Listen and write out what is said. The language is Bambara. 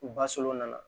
U ba solon nana